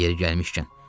Yeri gəlmişkən.